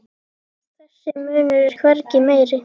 Þessi munur er hvergi meiri.